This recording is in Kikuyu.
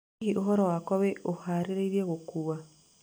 Hihi ũhoro wakwa wĩĩ ũhaarĩirie gũkuua